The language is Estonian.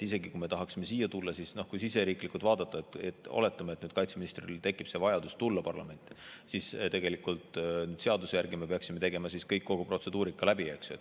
Isegi kui me tahaksime siia tulla – oletame, et kaitseministril tekib vajadus tulla parlamenti –, siis seaduse järgi me peaksime tegema kogu protseduurika läbi, eks.